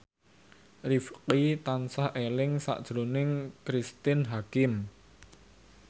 Rifqi tansah eling sakjroning Cristine Hakim